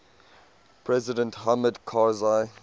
president hamid karzai